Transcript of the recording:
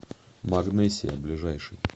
магнесия ближайший